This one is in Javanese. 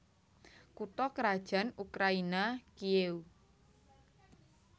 Kutha krajan Ukraina Kiyéw